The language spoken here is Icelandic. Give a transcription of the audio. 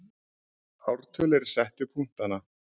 Ártöl eru sett við punktana.